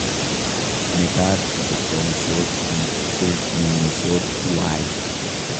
mekat kuchomsot biik che meng'isot tuwai